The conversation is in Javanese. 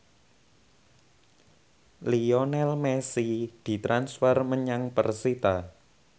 Lionel Messi ditransfer menyang persita